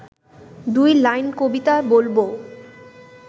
দুই লাইন কবিতা বলবো